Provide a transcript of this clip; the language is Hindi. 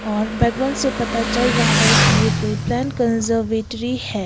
और से पता चल रहा है की ये कोई प्लांट कंजर्वेटरी है।